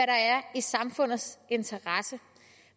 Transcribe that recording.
er i samfundets interesse